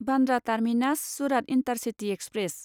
Bandra terminus Surat intercity express